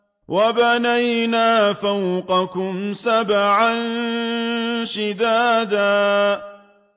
وَبَنَيْنَا فَوْقَكُمْ سَبْعًا شِدَادًا